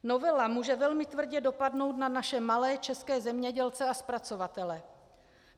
Novela může velmi tvrdě dopadnout na naše malé české zemědělce a zpracovatele.